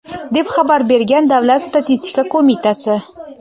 deb xabar bergan Davlat statistika qo‘mitasi.